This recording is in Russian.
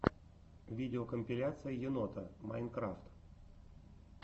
видеокомпиляция енота майнкрафт